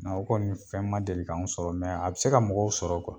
o kɔni fɛn ma deli k'anw sɔrɔ a bi se ka mɔgɔw sɔrɔ